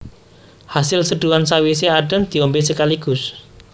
Hasil seduhan sawisé adhem diombé sekaligus